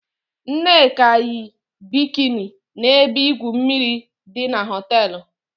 Nneka yi bikini na ebe igwu mmiri di na họteelu.